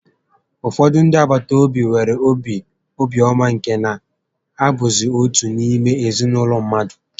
Ụfọdụ ndị agbataobi nwere obi ọma nke na ha bụzị otu n'ime ezinaụlọ mmadụ